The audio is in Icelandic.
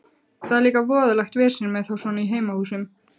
Það er líka voðalegt vesen með þá svona í heimahúsum.